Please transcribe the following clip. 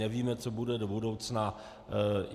Nevíme, co bude do budoucna.